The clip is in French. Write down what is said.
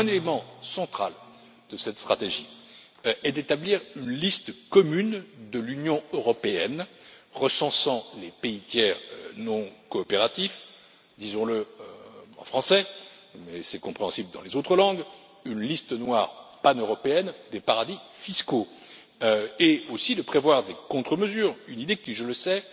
Un élément central de cette stratégie est d'établir une liste commune de l'Union européenne recensant les pays tiers non coopératifs disons le en français, mais c'est compréhensible dans les autres langues c'est à dire une liste noire paneuropéenne des paradis fiscaux, et aussi de prévoir des contre mesures, une idée qui, je le sais,